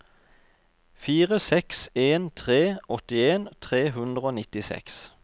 fire seks en tre åttien tre hundre og nittiseks